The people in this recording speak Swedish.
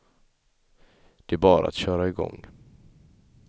Det är bara att köra igång.